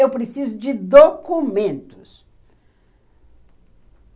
Eu preciso de documentos.